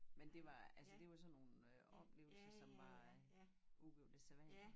Men det var altså det var sådan nogen øh oplevelser som var øh udover det sædvanlige